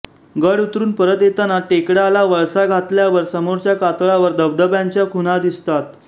गड उतरून परत येताना टेकडाला वळसा घातल्यावर समोरच्या कातळावर धबधब्यांच्या खुणा दिसतात